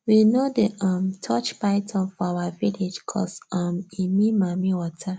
we no dey um touch python for our village coz um e mean mamiwater